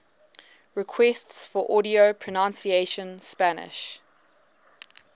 requests for audio pronunciation spanish